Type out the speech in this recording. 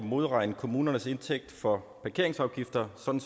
modregne kommunernes indtægt for parkeringsafgifter sådan